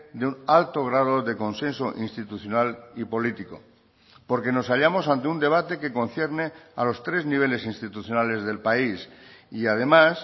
de un alto grado de consenso institucional y político porque nos hallamos ante un debate que concierne a los tres niveles institucionales del país y además